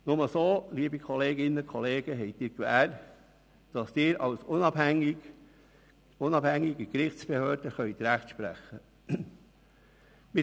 Nur so, liebe Kolleginnen und Kollegen, haben Sie die Gewähr, dass Sie als unabhängige Gerichtsbehörde Recht sprechen können.